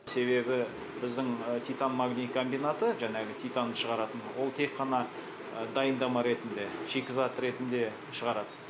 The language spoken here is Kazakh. себебі біздің титан магний комбинаты жаңағы титанды шығаратын ол тек қана дайындама ретінде шикізат ретінде шығарады